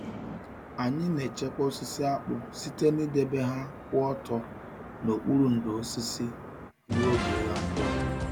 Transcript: Anyị na-echekwa osisi akpu site n'idebe ha kwụ ọtọ n'okpuru ndò osisi ruo oge ịgha mkpụrụ.